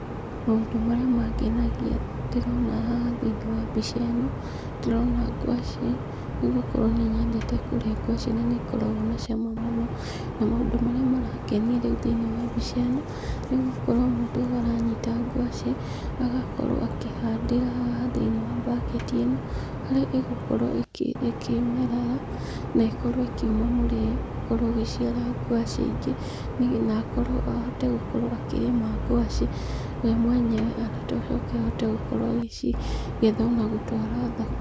Maũndũ marĩa mengenagia ndĩrona haha thĩiniĩ wa mbica ĩno, ndĩrona ngwacĩ. Nĩgũkorwo nĩ nyendete kũrĩa ngwacĩ na nĩ ikoragwo na cama mũno. Na maũndũ marĩa marangenia rĩu thĩiniĩ wa mbica ĩno, nĩgũkorwo mũndũ ũyũ aranyita ngwacĩ, agakorwo akĩhandĩra haha thĩiniĩ wa baketi ĩno, harĩa ĩgũkorwo ĩkĩmerera na ĩkorwo ĩkiuma mũrĩo, ũkorwo ĩgĩciara ngwacĩ ĩngĩ, na akorwo ahote gũkorwo akĩrĩma ngwacĩ we mwenyewe na acoke ahote gũkorwo agĩcigetha ona gũtwara thoko.